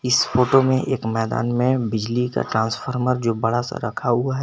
इस फोटो में एक मैदान में बिजली का ट्रांसफार्मर जो बड़ा सा रखा रखा हुआ है।